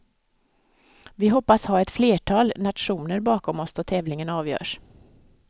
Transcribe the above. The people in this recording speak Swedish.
Vi hoppas ha ett flertal nationer bakom oss då tävlingen avgörs.